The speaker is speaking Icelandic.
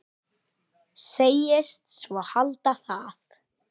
Segist svo halda það.